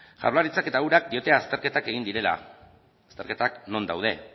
jaurlaritzak eta urak diote azterketak egin direla azterketak non daude